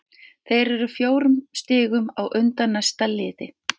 Þeir eru fjórum stigum á undan næsta liði.